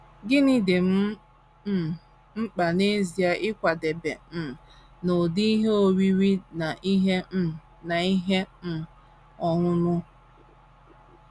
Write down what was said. Gịnị dị m um mkpa n’ezie ịkwadebe um n’ụdị ihe oriri na ihe um na ihe um ọṅụṅụ?